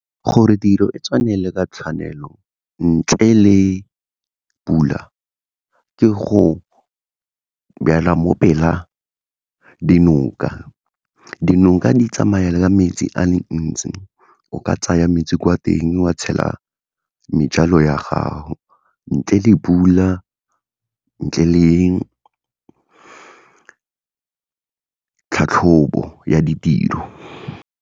Gore tiro e tswelele ka tshwanelo ntle le pula ke go jala mo pel'a dinoka. Dinoka di tsamaya ka metsi a le ntsi, o ka tsaya metsi kwa teng wa tshela ya gago ntle le pula, ntle le tlhatlhobo ya ditiro.